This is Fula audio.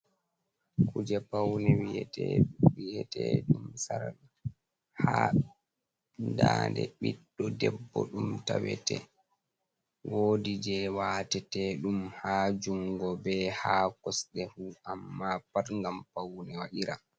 Kuje paune wiyete ɗum sarka ha dande biɗɗo debbo ɗum tawete wodi je watete ɗum ha jungo be ha kosɗe fu amma pat ngam paune waɗira.